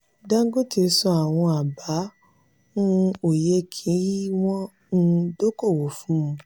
dangote san àwọn aba n òye kí wọ́n um dọkọwò fún.